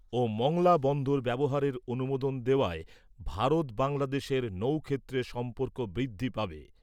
ও মংলা বন্দর ব্যবহারের অনুমোদন দেওয়ায় ভারত বাংলাদেশের নৌ ক্ষেত্রে সম্পর্ক বৃদ্ধি পাবে।